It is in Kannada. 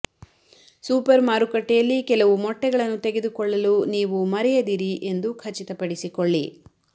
ಸೂಪರ್ ಮಾರುಕಟ್ಟೆಯಲ್ಲಿ ಕೆಲವು ಮೊಟ್ಟೆಗಳನ್ನು ತೆಗೆದುಕೊಳ್ಳಲು ನೀವು ಮರೆಯದಿರಿ ಎಂದು ಖಚಿತಪಡಿಸಿಕೊಳ್ಳಿ